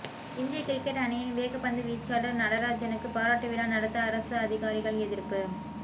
இந்திய கிரிக்கெட் அணியின் வேகப்பந்து வீச்சாளர் நடராஜனுக்கு பாராட்டு விழா நடத்த அரசு அதிகாரிகள் எதிர்ப்பு